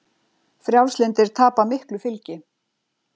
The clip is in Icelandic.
Frjálslyndir tapa miklu fylgi